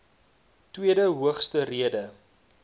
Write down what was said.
tweede hoogste rede